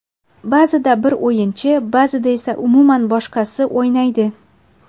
Ba’zida bir o‘yinchi, ba’zida esa umuman boshqasi o‘ynaydi.